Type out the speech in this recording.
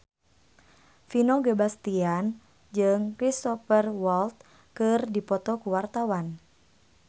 Vino Bastian jeung Cristhoper Waltz keur dipoto ku wartawan